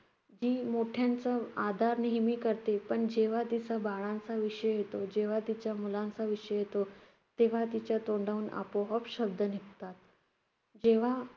ती मोठ्यांचं आदर नेहमी करते. पण जेव्हा तिच्या बाळांचा विषय येतो, जेव्हा तिच्या मुलांचा विषय येतो, तेव्हा तिच्या तोंडाहून आपोआप शब्द निघतात. जेव्हा